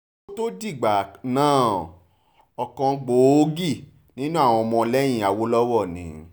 kó tóó dìgbà náà ọ̀kan gbòógì nínú àwọn ọmọlẹ́yìn awolowo ni